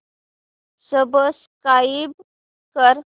subscribe कर